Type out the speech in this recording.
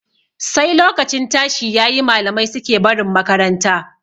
Sai lokacin tashi yayi malamai suke barin makaranta.